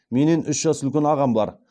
менен үш жас үлкен ағам бар